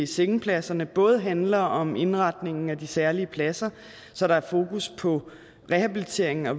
sengepladserne både handler om indretningen af de særlige pladser så der er fokus på rehabilitering og